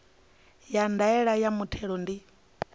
ya ndaela ya muthelo ndi